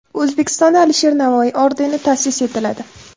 O‘zbekistonda Alisher Navoiy ordeni ta’sis etiladi.